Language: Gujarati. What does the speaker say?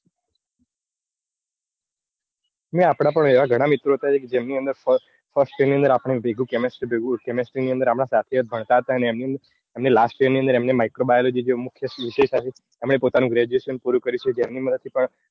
નઈ આપડા એવા ગાન મિત્રો છે કે જેમની અંદર first year ની અંદર આપડે ભેગું chemistry ભેગું chemistry આપડે સાથે જ ભણતા હતા અને એમની last year નીઓ અંદર એમને micro biology જેવો પોતાનું graduation પૂરું કરીશુ તો એમની મદદ થી પણ